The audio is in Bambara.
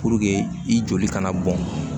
i joli kana bɔn